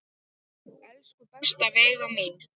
Elsku besta Veiga mín.